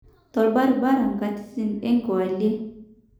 Tobaribara nkatitin enkewalie.